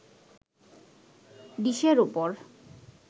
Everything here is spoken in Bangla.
ডিশের ওপর